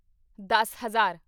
ਦੱਸ ਹਜ਼ਾਰ